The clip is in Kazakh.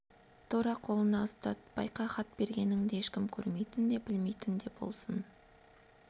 тура қолына ұстат байқа хат бергеніңді ешкім көрмейтін де білмейтін де болсын